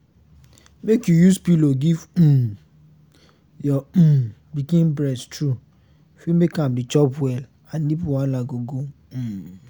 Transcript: make you use pillow give um your um pikin breast true fit make am dey chop well and nipple wahala go go um